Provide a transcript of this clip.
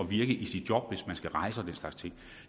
virke i sit job hvis man skal rejse og den slags ting